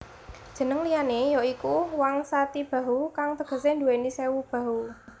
Jeneng liyane ya iku Wingsatibahu kang tegese nduweni sewu bahu